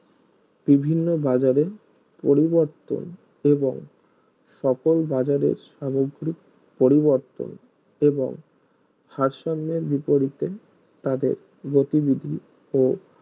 বিভিন্ন বাজারের পরিবর্তন এবং সকল বাজারের সামগ্রিক পরিবর্তন এবং ভারসাম্যের বিপরীতে তাদের গতিবিধি ও